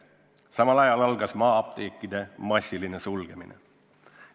Samal ajal algas maa-apteekide massiline sulgemine.